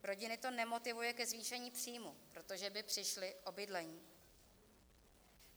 Rodiny to nemotivuje ke zvýšení příjmu, protože by přišly o bydlení.